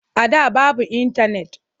A da babu intanet.